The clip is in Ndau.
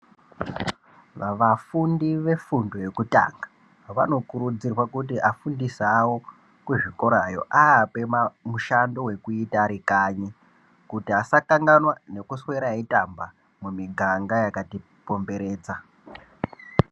Vafundi vefundo yekutanga vanokurudzirwa kuti afundisi avo kuzvikorayo apiwe mushando yekuita varikanyi kuti asakanganwa nekuswera eitamba mumuganga makati komberedza.